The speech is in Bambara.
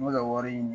N bɛ ka wari ɲini